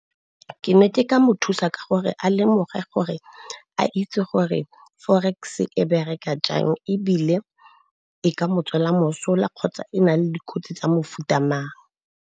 Ke ne ke ka mo thusa ka gore a lemoge gore a itse gore forex-e e bereka jang, ebile e ka mo tswela mosola kgotsa e na le dikotsi tsa mofuta amang.